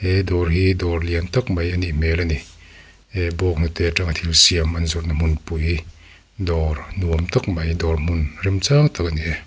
he dawr hi dawr lian tak mai a nih hmel a ni he bawnghnute atanga thil siam an zawrhna hmunpui dawr nuam tak mai dawr hmun remchang tak a ni.